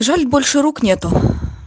жаль больше рук нету